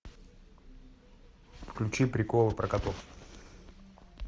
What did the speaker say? включи приколы про котов